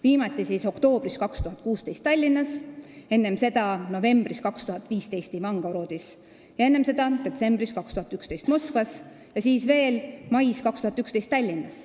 Viimati toimus see oktoobris 2016 Tallinnas, enne seda novembris 2015 Ivangorodis ja veel enne seda detsembris 2011 Moskvas ja siis veel mais 2011 Tallinnas.